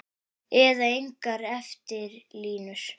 Eða gengur eftir línu.